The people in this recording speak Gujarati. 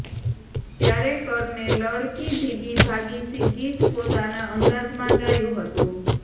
ત્યારે કરને લડકી ભીગી ભાગી સી ગીત પોતાના અંદાજમાં ગાયું હતું